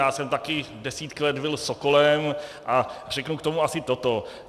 Já jsem taky desítky let byl sokolem a řeknu k tomu asi toto.